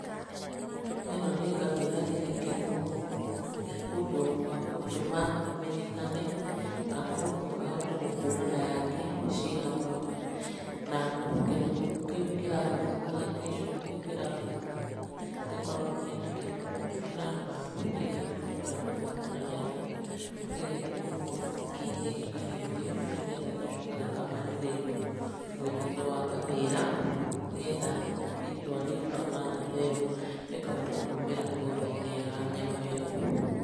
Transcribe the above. Ĩno nĩ ngamĩra ĩrekĩrwo ũndũ wa gũtũma ĩmenyekane, kana mũndũ ahote gũkũrana yake ciĩ hamwe na kĩnyamũ kĩu kĩrahũthĩka, gĩcuma kĩu kĩrahũthĩka gĩkoragwo kĩandĩkĩtwo namba ĩrĩa ũngĩhota kũhũthĩra gũtambũra nayo, gĩgekĩrwo mwaki-inĩ gĩkahiũhio, nĩgetha gĩgacoka gĩkamandĩrĩrio mwĩrĩ-inĩ wa ngamĩra, nĩgetha rĩtwa rĩu kana namba ĩyo ĩkahota kuumĩra ngothi-inĩ ya nyamũ ĩyo.